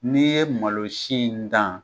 N'i ye malosi in dan.